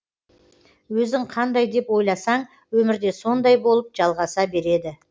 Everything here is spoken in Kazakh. өзің қандай деп ойласаң өмірде сондай болып жалғаса береді